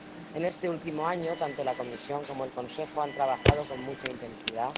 En este último año, tanto la Comisión como el Consejo han trabajado con mucha intensidad.